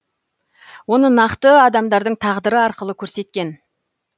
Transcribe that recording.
оны нақты адамдардың тағдыры арқылы көрсеткен